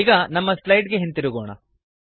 ಈಗ ನಮ್ಮ ಸ್ಲೈಡ್ ಗೆ ಹಿಂತಿರುಗೋಣ